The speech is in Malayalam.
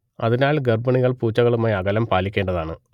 അതിനാൽ ഗർഭിണികൾ പൂച്ചകളുമായി അകലം പാലിക്കേണ്ടതാണ്